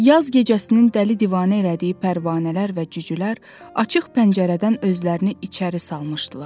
Yaz gecəsinin dəli divanə elədiyi pərvanələr və cücülər açıq pəncərədən özlərini içəri salmışdılar.